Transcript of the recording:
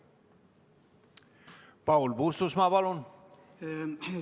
Paul Puustusmaa, palun!